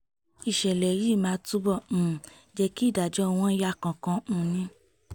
ìṣẹ̀lẹ̀ yìí máa túbọ̀ um jẹ́ kí ìdájọ́ wọn yá kánkán um ni